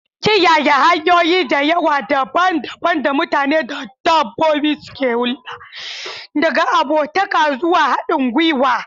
Kiyaye hanyoyi da yawa daban-daban da mutane da dabbobi suke hulɗa, daga abokantaka zuwa haɗin gwiwa.